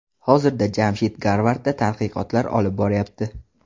Hozirda Jamshid Garvardda tadqiqotlar olib boryapti.